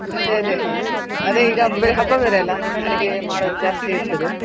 ಅದೆ ಅದೆ. ಅದೇ ಈಗ ಹಬ್ಬ ಬೇರೆ ಅಲ ಅಡುಗೆ ಮಾಡೋದು ಜಾಸ್ತಿ ಇರ್ತದೆ.